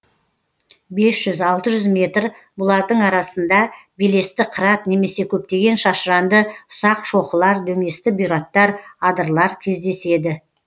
бес жүз алты жүз метр бұлардың арасында белесті қырат немесе көптеген шашыранды ұсақ шоқылар дөңесті бұйраттар адырлар кездеседі